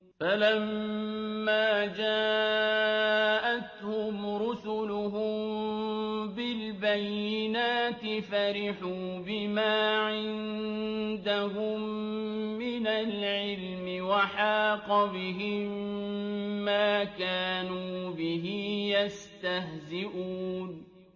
فَلَمَّا جَاءَتْهُمْ رُسُلُهُم بِالْبَيِّنَاتِ فَرِحُوا بِمَا عِندَهُم مِّنَ الْعِلْمِ وَحَاقَ بِهِم مَّا كَانُوا بِهِ يَسْتَهْزِئُونَ